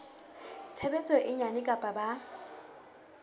tshebetso e nyane kapa ba